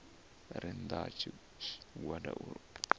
re nnda ha tshigwada u